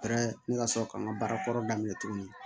ne ka sɔrɔ ka n ka baara kɔrɔ daminɛ tuguni